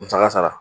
Musaka sara